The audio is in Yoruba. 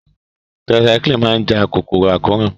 Tetracycline máa ja kòkòrò àkóràn